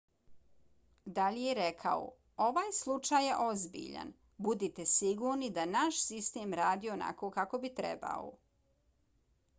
dalje je rekao: ovaj slučaj je ozbiljan. budite sigurni da naš sistem radi onako kako bi trebao.